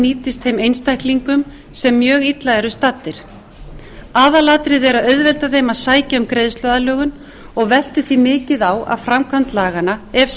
nýtast þeim einstaklingum sem mjög illa eru staddir aðalatriðið er að auðvelda þeim að sækja um greiðsluaðlögun á veltur því mikið á að framkvæmd laganna ef